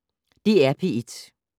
DR P1